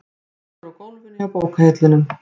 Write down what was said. Liggur á gólfinu hjá bókahillunum.